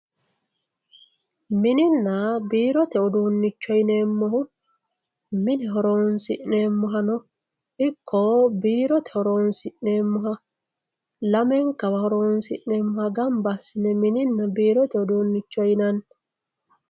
Minninna birrotte uddunicho yinnemohu minne horonsinemohano iko birrotte horonsinemoha lamenkawa horonsinemoha ganba asinne minninna birrotte uddunicho yinnanni